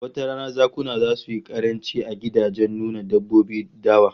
Wata rana zakuna zasu yi karanci a gidajen nuna dabbobin dawa